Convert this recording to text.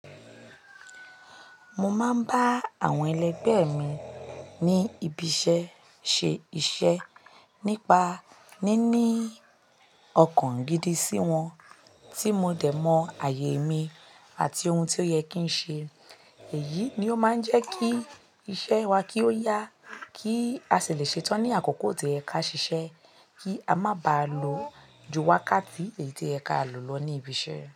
Mo máa ń bá àwọn ẹlẹgbẹ́ mi ní ibi iṣẹ́ ṣe iṣẹ́ nípa níní ọkàn gidi sí wọn, tí mo dẹ̀ mọ ààyè mi àti ohun tí ó yẹ kí n ṣe. Èyí ni ó máa ń jẹ́ kí iṣẹ́ wa kí ó yá kí a sì lè ṣetán ní àkókò tío y ẹ ká ṣiṣẹ́ kí a má ba à lọ ju wákàtí èyí tí ẹ ká lò lọ ní ibi iṣẹ́